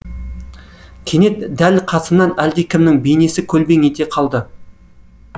кенет дәл қасымнан әлдекімнің беинесі көлбең ете қалды